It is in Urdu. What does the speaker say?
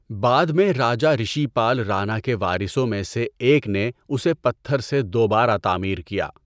بعد میں راجہ رشی پال رانا کے وارثوں میں سے ایک نے اسے پتھر سے دوبارہ تعمیر کیا۔